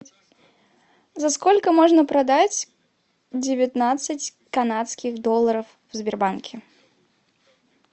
за сколько можно продать девятнадцать канадских долларов в сбербанке